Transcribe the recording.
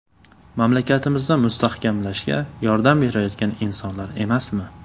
Mamlakatimizni mustahkamlashga yordam berayotgan insonlar emasmi?